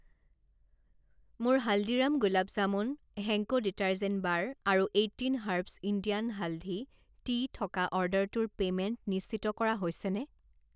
মোৰ Haldiram gulab jamun, Henko detergent bar আৰু eighteen herbs Indian haldi tea থকা অৰ্ডাৰটোৰ পে'মেণ্ট নিশ্চিত কৰা হৈছেনে?